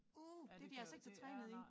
Uh det de altså ikke så trænet i